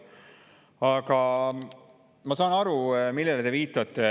Aga ma saan aru, millele te viitate.